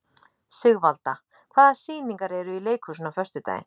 Sigvalda, hvaða sýningar eru í leikhúsinu á föstudaginn?